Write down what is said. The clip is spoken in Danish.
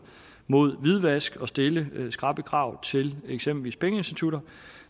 mod hvidvask og stille skrappe krav til eksempelvis pengeinstitutter